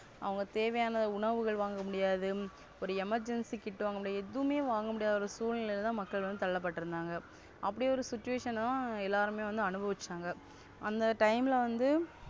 அவங்க தேவையான உணவுகள் வாங்கமுடியாது, ஒரு Emergency kit வாங்கமுடியாது எதுவு வாங்கமுடியாத ஒரு சூழ்நிலையிலதான் மக்கள் வந்து தள்ளப்பட்டிருந்தாங்க. அப்டி ஒரு Situation லதா எல்லாருமே அனுபவச்சங்க அந்த Time வநது,